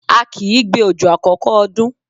A kìí gbé òjò àkọ́kọ́ ọdún.